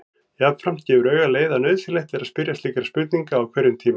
Jafnframt gefur auga leið að nauðsynlegt er að spyrja slíkra spurninga á hverjum tíma.